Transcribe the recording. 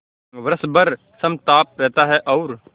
वर्ष भर समताप रहता है और